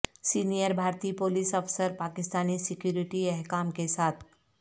senior بھارتی police افسر Pakistani security حکام کے ساتھ